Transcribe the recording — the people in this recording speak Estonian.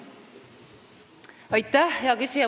Aitäh, hea küsija!